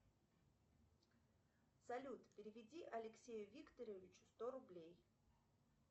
салют переведи алексею викторовичу сто рублей